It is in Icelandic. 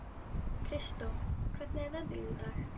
Kristó, hvernig er veðrið í dag?